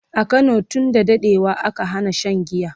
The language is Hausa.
a Kano tun da daɗewa aka Hana Shan giya